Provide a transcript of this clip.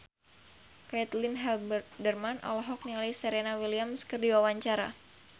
Caitlin Halderman olohok ningali Serena Williams keur diwawancara